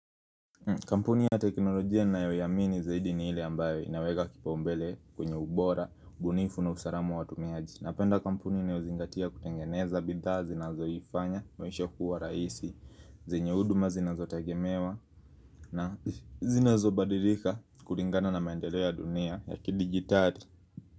Kampuni ya teknolojia ninayoiamini zaidi ni ile ambayo inaweka kipaumbele kwenye ubora, ubunifu na usalama wa watumiaji Napenda kampuni inayozingatia kutengeneza bidhaa zinazoifanya, maisha kuwa rahisi, zenye huduma zinazotegemewa na zinazobadilika kulingana na maendeleo dunia ya kidijitali.